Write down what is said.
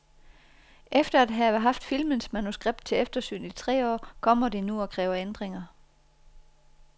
Efter at have haft filmens manuskript til eftersyn i tre år kommer de nu og kræver ændringer.